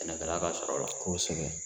Sɛnɛkɛla ka sɔrɔ la kosɛbɛ.